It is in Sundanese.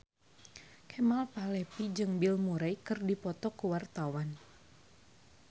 Kemal Palevi jeung Bill Murray keur dipoto ku wartawan